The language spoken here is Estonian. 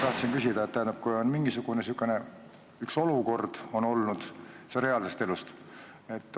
On olnud mingisugune sihukene olukord, see näide on võetud reaalsest elust.